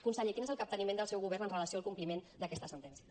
conseller quin és el capteniment del seu govern amb relació al compliment d’aquesta sentència